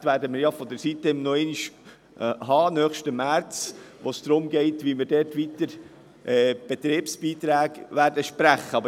Es ist wichtig zu wissen, dass wir dieses Geschäft nochmals im nächsten März behandeln werden, wo es darum gehen wird, wie wir weitere Betriebsbeiträge sprechen.